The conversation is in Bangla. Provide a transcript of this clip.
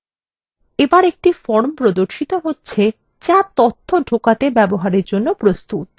এবর একটি form প্রর্দশিত হচ্ছে যা তথ্য ঢোকাতে ব্যবহারের জন্য প্রস্তুত